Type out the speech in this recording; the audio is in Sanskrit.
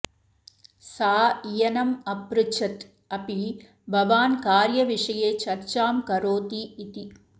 सा इयनम् अपृच्छत् अपि भवान् कार्यविषये चर्चां करोति इति